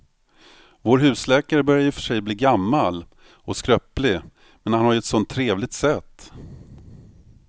Vår husläkare börjar i och för sig bli gammal och skröplig, men han har ju ett sådant trevligt sätt!